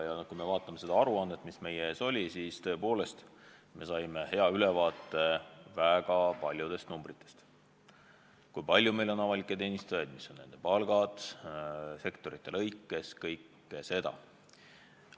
Kui me vaatame seda aruannet, mis meie ees on, siis tõepoolest see annab hea ülevaate väga paljudest numbritest: kui palju meil on avalikus teenistuses töötajaid, mis on nende palgad sektorite lõikes ja muud sellist.